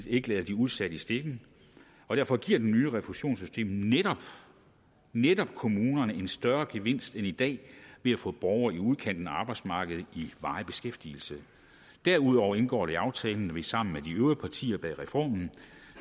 ikke lader de udsatte i stikken og derfor giver det nye refusionssystem netop netop kommunerne en større gevinst end i dag ved at få borgere i udkanten af arbejdsmarkedet i varig beskæftigelse derudover indgår det i aftalen at vi sammen med de øvrige partier bag reformen